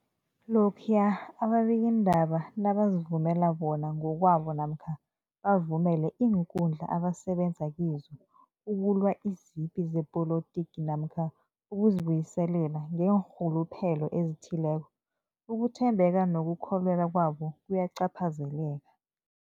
Lokhuya ababikiindaba nabazivumela bona ngokwabo namkha bavumele iinkundla abasebenza kizo ukulwa izipi zepolitiki namkha ukuzi buyiselela ngeenrhuluphelo ezithileko, ukuthembeka nokukholweka kwabo kuyacaphazeleka.